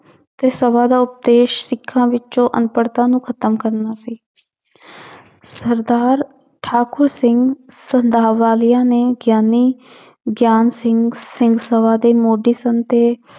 ਤੇ ਸਭਾ ਦਾ ਉਦੇਸ਼ ਸਿੱਖਾਂ ਵਿੱਚੋਂ ਅਣਪੜਤਾ ਨੂੰ ਖ਼ਤਮ ਕਰਨਾ ਸੀ ਸਰਦਾਰ ਠਾਕੁਰ ਸਿੰਘ ਨੇ ਗਿਆਨੀ ਗਿਆਨ ਸਿੰਘ ਸਿੰਘ ਸਭਾ ਦੇ ਮੋਢੀ ਸਨ ਤੇ